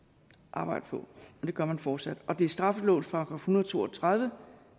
arbejdet på og det gør man fortsat og det er straffelovens § en hundrede og to og tredive